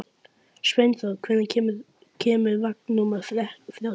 Svanþór, hvenær kemur vagn númer þrjátíu og eitt?